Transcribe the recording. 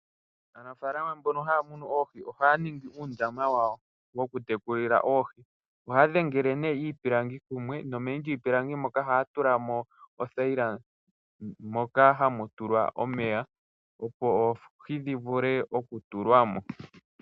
Aanafaalama mboka ha ya ningi oohi, oha ya ningi uundama wawo wo kutekulila oohi. Ohaa dhengelele ne iipilangi kumwe, nomeni lyiipilangi moka oha mu tulwa othaila ndjoja ha yi ka kala omeya opo oohi dhi vule oku tulwamo.